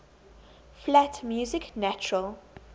flat music natural